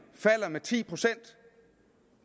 falder med ti procent